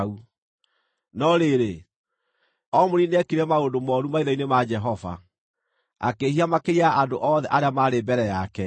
No rĩrĩ, Omuri nĩekire maũndũ mooru maitho-inĩ ma Jehova, akĩĩhia makĩria ya andũ othe arĩa maarĩ mbere yake.